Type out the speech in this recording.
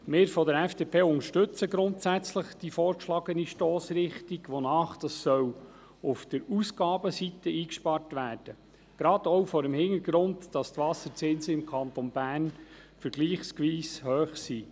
Wir von der FDP unterstützen grundsätzlich die vorgeschlagene Stossrichtung, wonach auf der Ausgabenseite eingespart werden soll, gerade auch vor dem Hintergrund, dass die Wasserzinsen im Kanton Bern vergleichsweise hoch sind.